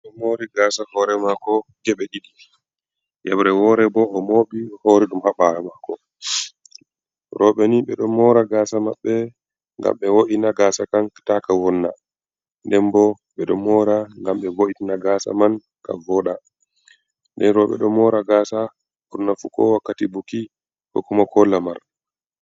Oɗo mori gasa hore mako je ɓe ɗiɗi, hibre hore dum habare mako, roɓe ni ɓedo mora gasa maɓɓe gam ɓe wo’ina gasa kank taka wonna, nden bo ɓeɗo mora gam ɓe voitna gasa man ka voda, nden roɓe do mora gasa burna fu ko wakkati buki kokkumo ko lamar.